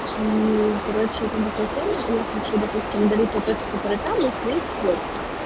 короче я хочу допустим далеко поэтому смотреть свой